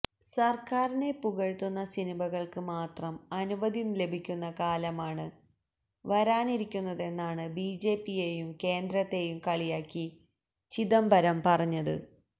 സർക്കാരിനെ പുകഴ്ത്തുന്ന സിനിമകൾക്ക് മാത്രം അനുമതി ലഭിക്കുന്ന കാലമാണ് വരാനിരിക്കുന്നതെന്നാണ് ബിജെപിയേയും കേന്ദ്രത്തേയും കളിയാക്കി ചിദംബരം പറഞ്ഞത്